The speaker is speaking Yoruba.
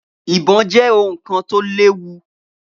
Ibò jẹ́ ohun kan tó léwu